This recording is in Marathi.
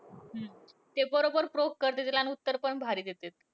ते बरोबर poke करतात तिला आणि उत्तर पण भारी देत्यात.